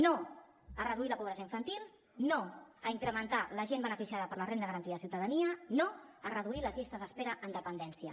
no a reduir la pobresa infantil no a incrementar la gent beneficiada per la renda garantida de ciutadania no a reduir les llistes d’espera en dependència